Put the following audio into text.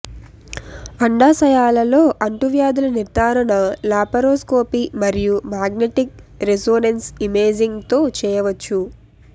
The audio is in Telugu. అండాశయాలలో అంటువ్యాధుల నిర్ధారణ లాపరోస్కోపీ మరియు మాగ్నెటిక్ రెసొనెన్స్ ఇమేజింగ్ తో చేయవచ్చు